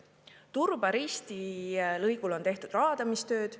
Turba-Risti lõigul on tehtud raadamistööd.